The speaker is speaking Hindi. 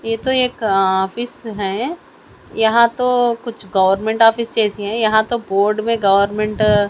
यह तो एक ऑफिस है। यहां तो कुछ गवर्नमेंट ऑफिस जैसी है। यहां तो बोर्ड में गवर्नमेंट --